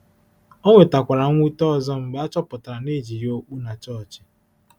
Ọ nwetakwara mwute ọzọ mgbe a chọpụtara na e ji ya okpu na chọọchị.